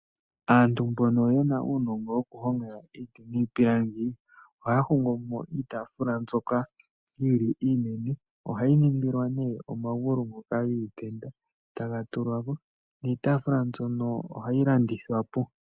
Aantu mbono yena uunongo woku honga iiti niipilangi ohaya hongo mo iitaafula mbyono yili iinene ohayi ningilwa ne omagulu ngoka giitenda taga tulwa ko, niitafula mbyono ohayi landithwa po.